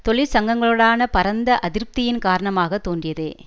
தொழிற்சங்கங்களுடனான பரந்த அதிருப்தியின் காரணமாக தோன்றியதே